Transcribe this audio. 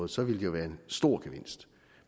så ville det jo være en stor gevinst